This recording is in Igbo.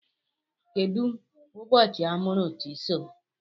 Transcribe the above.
Kedụ ụbọchị amụrụ Chisom?